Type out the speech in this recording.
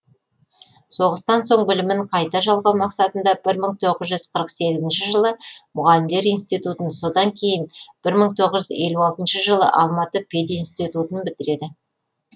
соғыстан соң білімін қайта жалғау мақсатында бір мың тоғыз қырық сегізінші жылы мұғалімдер институтын одан кейін бір мың тоғыз жүз алтыншы жылы алматы пединститутын бітіреді